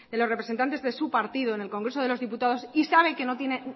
los representantes de su partido en el congreso de los diputados y sabe que no tiene